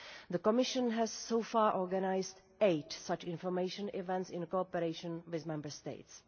The Commission has so far organised eight such information events in cooperation with Member States.